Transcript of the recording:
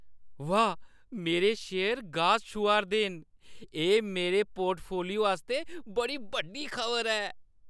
वाह्, मेरे शेयर गास छूहा 'रदे न! एह् मेरे पोर्टफोलियो आस्तै बड़ी बड्डी खबर ऐ।